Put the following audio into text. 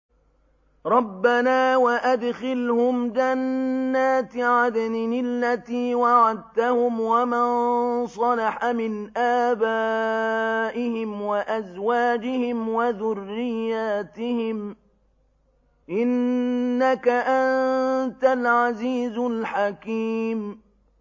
رَبَّنَا وَأَدْخِلْهُمْ جَنَّاتِ عَدْنٍ الَّتِي وَعَدتَّهُمْ وَمَن صَلَحَ مِنْ آبَائِهِمْ وَأَزْوَاجِهِمْ وَذُرِّيَّاتِهِمْ ۚ إِنَّكَ أَنتَ الْعَزِيزُ الْحَكِيمُ